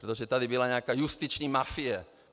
Protože tady byla nějaká justiční mafie.